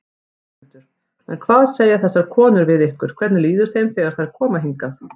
Höskuldur: En hvað segja þessar konur við ykkur, hvernig líður þeim þegar þær koma hingað?